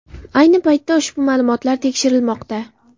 Ayni paytda ushbu ma’lumotlar tekshirilmoqda.